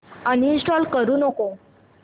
uninstall करू नको